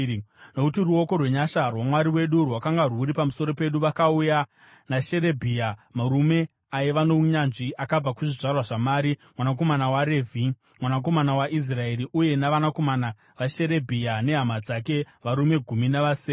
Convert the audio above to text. Nokuti ruoko rwenyasha rwaMwari wedu rwakanga rwuri pamusoro pedu, vakauya naSherebhia, murume aiva nounyanzvi, akabva kuzvizvarwa zvaMari, mwanakomana waRevhi, mwanakomana waIsraeri, uye navanakomana vaSherebhia nehama dzake, varume gumi navasere,